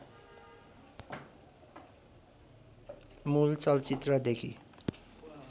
मूल चलचित्रदेखि